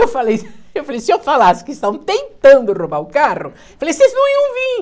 Eu falei, se eu falasse que estão tentando roubar o carro, eu falei, vocês não iam vir.